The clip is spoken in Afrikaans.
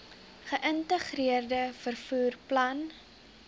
geïntegreerde vervoer plan